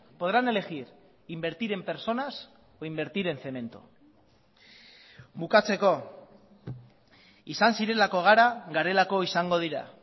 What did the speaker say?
podrán elegir invertir en personas o invertir en cemento bukatzeko izan zirelako gara garelako izango dira